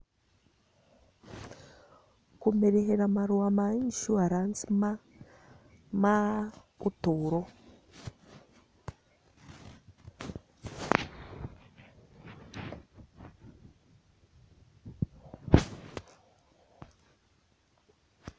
Kũmĩrĩhĩra marũa ma insurance ma, ma ũtũũro.